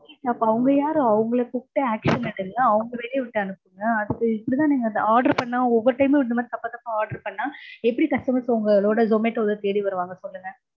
அப்போ அவங்க யாரு? அவங்கள கூப்பிட்டு action எடுங்க. அவங்கள வேலைய விட்டு அனுப்புங்க. order பண்ணா ஒவ்வொரு time மும் இந்த மாதிரி தப்பா தப்பா order பண்ணா எப்படி customers உங்களோட zomato டோல தேடி வருவாங்க.